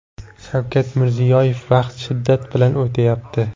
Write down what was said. Shavkat Mirziyoyev: Vaqt shiddat bilan o‘tyapti.